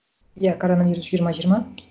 иә коронавирус жиырма жиырма